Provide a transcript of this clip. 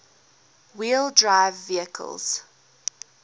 wheel drive vehicles